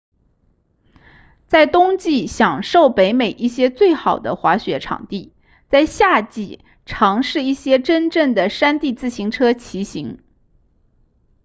在冬季享受北美一些最好的滑雪场地在夏季尝试一些真正的山地自行车骑行